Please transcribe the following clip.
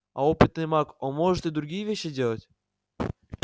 а опытный маг он может и другие вещи делать